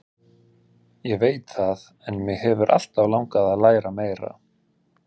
Ég veit það en mig hefur alltaf langað til að læra meira.